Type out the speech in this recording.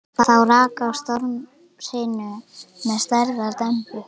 Þá rak á stormhrinu með stærðar dembu.